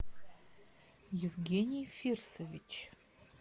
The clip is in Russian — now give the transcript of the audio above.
евгений фирсович